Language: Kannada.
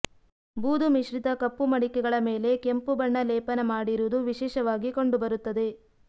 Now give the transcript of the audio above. ಬೂದು ಮಿಶ್ರಿತ ಕಪ್ಪು ಮಡಿಕೆಗಳ ಮೇಲೆ ಕೆಂಪು ಬಣ್ಣ ಲೇಪನ ಮಾಡಿರುವುದು ವಿಶೇಷವಾಗಿ ಕಂಡುಬರುತ್ತದೆ